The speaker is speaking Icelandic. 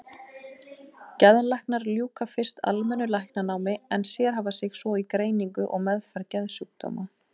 Geðlæknar ljúka fyrst almennu læknanámi en sérhæfa sig svo í greiningu og meðferð geðsjúkdóma.